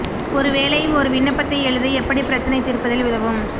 ஒரு வேலை ஒரு விண்ணப்பத்தை எழுத எப்படி பிரச்சனை தீர்ப்பதில் உதவும்